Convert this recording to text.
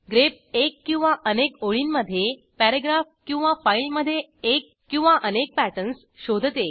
grep एक किंवा अनेक ओळींमधे पॅरेग्राफ किंवा फाईलमधे एक किंवा अनेक पॅटर्न्स शोधते